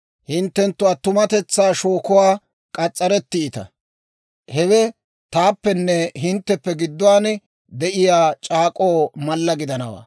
Hinttenttu attumatetsaa shookuwaa k'as's'arettiita; hewe taappenne hintteppe gidduwaan de'iyaa c'aak'k'oo mallaa gidanawaa.